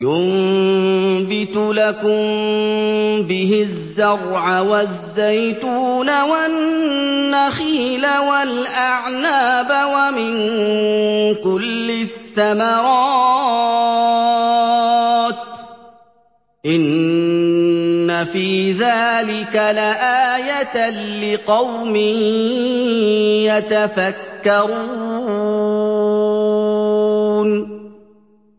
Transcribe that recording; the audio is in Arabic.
يُنبِتُ لَكُم بِهِ الزَّرْعَ وَالزَّيْتُونَ وَالنَّخِيلَ وَالْأَعْنَابَ وَمِن كُلِّ الثَّمَرَاتِ ۗ إِنَّ فِي ذَٰلِكَ لَآيَةً لِّقَوْمٍ يَتَفَكَّرُونَ